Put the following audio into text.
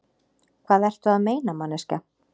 Hvað ertu að meina, manneskja?